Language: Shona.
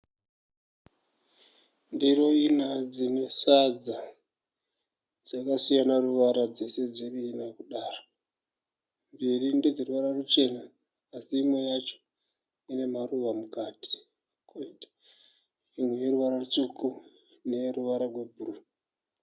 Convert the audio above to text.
Ndiro ina dzine sadza. Dzakasiyana ruvara dziri dzese dziri ina kudaro. Mbiri ndedze ruvara ruchena asi imwe yacho ine maruva mukati. Imwe ineruvara rutsvuku neye ruvara rwebhuruu.